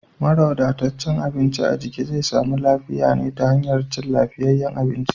Mara wadataccen abinci a jiki zai samu lafiya ne ta hanyar cin lafiyayyen abinci.